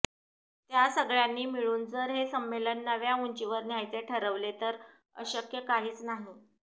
त्या सगळ्यांनी मिळून जर हे संमेलन नव्या उंचीवर न्यायचे ठरवले तर अशक्य काहीच नाही